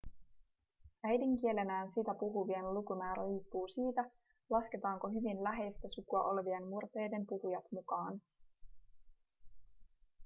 äidinkielenään sitä puhuvien lukumäärä riippuu siitä lasketaanko hyvin läheistä sukua olevien murteiden puhujat mukaan